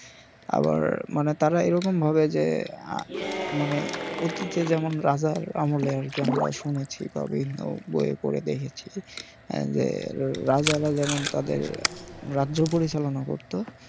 আবার মানে তারা এরকমভাবে মানে যে মানে অতীতে যেরকম রাজার আমলে আমরা শুনেছি বা বিভিন্ন বই এ পড়ে দেখেছি যে রাজারা যেমন তাদের রাজ্য পরিচালনা করতো